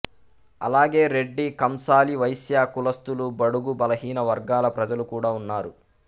అలాగే రెడ్డి కంసాలివైశ్య కులస్థులు బడుగు బలహీన వర్గాల ప్రజలు కూడా ఉన్నారు